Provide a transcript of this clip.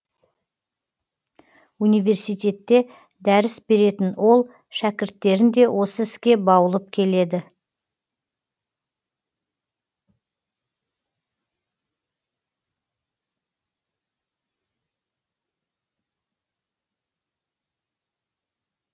университетте дәріс беретін ол шәкірттерін де осы іске баулып келеді